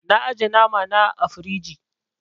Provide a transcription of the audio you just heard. Na ajiye nama na ã firiji.